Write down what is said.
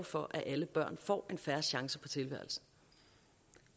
for at alle børn får en fair chance